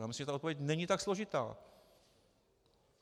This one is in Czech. Já myslím, že ta odpověď není tak složitá.